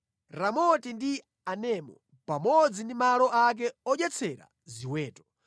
Ramoti ndi Anemu, pamodzi ndi malo ake odyetsera ziweto;